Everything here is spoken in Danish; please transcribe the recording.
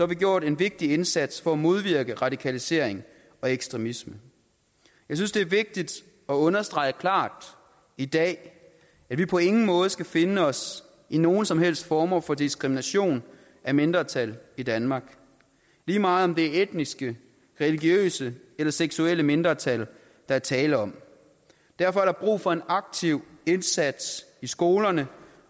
vi gjort en vigtig indsats for at modvirke radikalisering og ekstremisme jeg synes det er vigtigt at understrege klart i dag at vi på ingen måde skal finde os i nogen som helst former for diskrimination af mindretal i danmark lige meget om det er etniske religiøse eller seksuelle mindretal der er tale om derfor er der brug for en aktiv indsats i skolerne